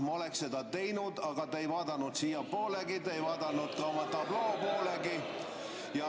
Ma oleksin seda teinud, aga te ei vaadanud siiapoolegi, ei vaadanud tabloo poolegi.